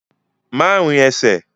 Má rin ẹsẹ̀!